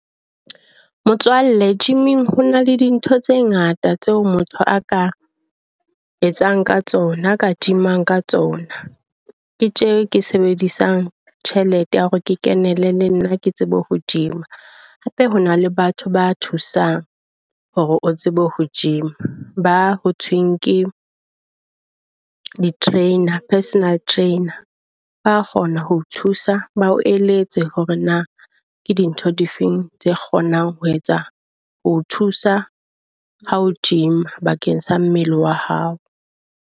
Motswalle gym-eng ho na le di ntho tse ngata tseo motho a ka etsang ka tsona a ka gym-ang ka tsona. Ke tje ke sebedisang tjhelete ya hore ke kenele le nna ke tsebe ho gym-a. Hape ho na le batho ba thusang hore o tsebe ho gym-a. Ba ho thweng ke di-trainer, personal trainer. Ba kgona ho thusa bao eletse hore na ke dintho di feng tse kgonang ho etsa ho thusa ho gym-a bakeng sa mmele wa hao.